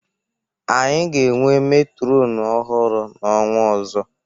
Anyị ga-enwe metrọnụ ọhurụ n'ọnwa ọzọ.